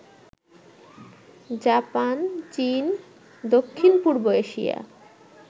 Japan, চীন, দক্ষিণ পূর্ব এশিয়া